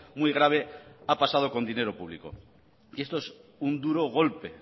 muy grave ha pasado con dinero público y esto es un duro golpe